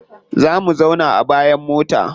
Za mu zauna a bayan mota.